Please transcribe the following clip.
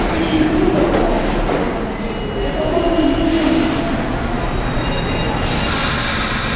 птичьи крылья товарищи сказал он это орган движения а не действий